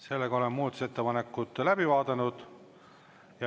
Sellega oleme muudatusettepanekud läbi vaadanud.